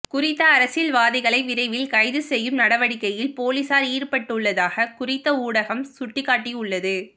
குறித்த அரசியல்வாதிகளை விரைவில் கைது செய்யும் நடவடிக்கையில் பொலிஸார் ஈடுபட்டுள்ளதாக குறித்த ஊடகம் சுட்டிக்காட்டியுள்ளது